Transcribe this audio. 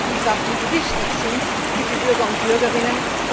Das sind die Sachen, die wichtig sind für die Bürger und Bürgerinnen.